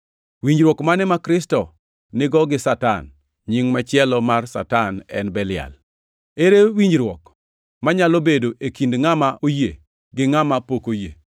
Winjruok mane ma Kristo nigo gi Satan (nying machielo mar Satan en Belial)? Ere winjruok manyalo bedo e kind ngʼama oyie gi ngʼama pok oyie + 6:15 Ngʼama ok oluoro Nyasaye.?